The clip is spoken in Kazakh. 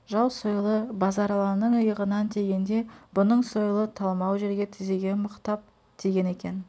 жау сойылы базаралының иығынан тигенде бұның сойылы талмау жерге тізеге мықтап тиген екен